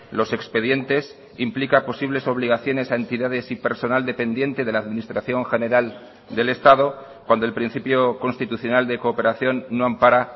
los expedientes implica posibles obligaciones a entidades y personal dependiente de la administración general del estado cuando el principio constitucional de cooperación no ampara